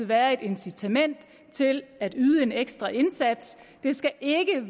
være et incitament til at yde en ekstra indsats det skal ikke